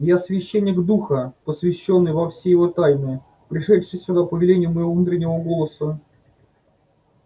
я священник духа посвящённый во все его тайны пришедший сюда по велению моего внутреннего голоса